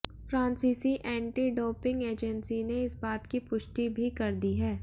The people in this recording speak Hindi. फ्रांसीसी एंटी डोपिंग एजेंसी ने इस बात की पुष्टि भी कर दी है